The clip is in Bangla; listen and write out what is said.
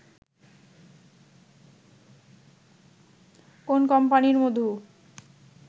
কোন কোম্পানির মধু